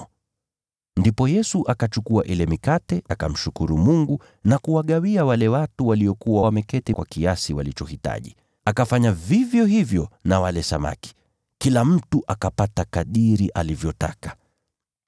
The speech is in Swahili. Ndipo Yesu akachukua ile mikate, akamshukuru Mungu na kuwagawia wale watu waliokuwa wameketi. Akafanya vivyo hivyo na wale samaki. Kila mtu akapata kadiri alivyotaka.